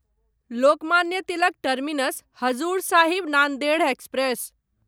Lokmanya Tilak terminus Hazur Sahib Nanded express